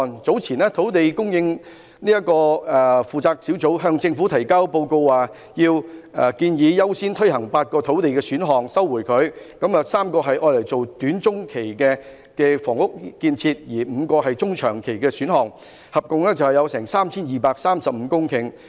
早前，土地供應專責小組在向政府提交的報告中，建議優先推行8個土地選項，當中3個用作短中期房屋建設，另外5個是中長期選項，合共會有 3,235 公頃土地。